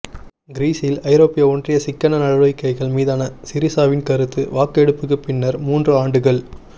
கிரீஸில் ஐரோப்பிய ஒன்றிய சிக்கன நடவடிக்கைகள் மீதான சிரிசாவின் கருத்து வாக்கெடுப்புக்குப் பின்னர் மூன்று ஆண்டுகள்